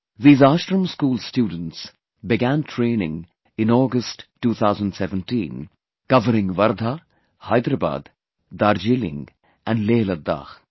These Ashram School students began training in August, 2017, covering Wardha, Hyderabad, Darjeeling and LehLadakh